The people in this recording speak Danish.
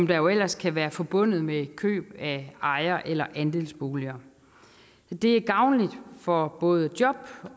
der jo ellers kan være forbundet med køb af ejer eller andelsboliger det er gavnligt for både job